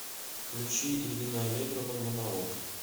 включи ирина аллегрова монолог